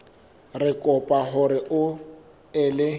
re kopa hore o ele